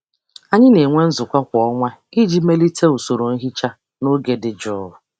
Anyị na-enwe nzukọ kwa ọnwa iji melite usoro nhicha na oge dị jụụ.